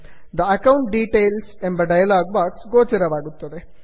the account details the account details ಎಂಬ dialog box ಗೋಚರವಾಗುತ್ತದೆ